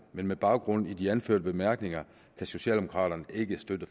men med baggrund i de anførte bemærkninger kan socialdemokraterne ikke støtte